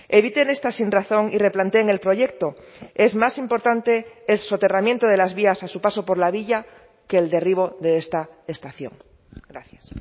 eviten esta sin razón y replanteen el proyecto es más importante el soterramiento de las vías a su paso por la villa que el derribo de esta estación gracias